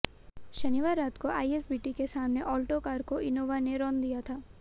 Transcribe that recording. शनिवार रात को आईएसबीटी के सामने ऑल्टो कार को इनोवा ने रौंद दिया था